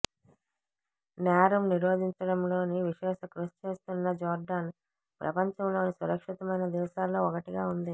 నేరం నిరోధించడంలో విశేషకృషిచేస్తున్న జోర్డాన్ ప్రంపంచంలోని సురక్షితమైన దేశాలలో ఒకటిగా ఉంది